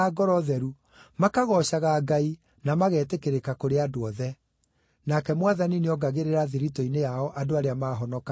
makagoocaga Ngai, na magetĩkĩrĩka kũrĩ andũ othe. Nake Mwathani nĩongagĩrĩra thiritũ-inĩ yao andũ arĩa maahonokaga o mũthenya.